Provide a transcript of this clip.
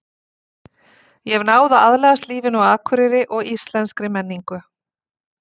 Ég hef náð að aðlagast lífinu á Akureyri og íslenskri menningu.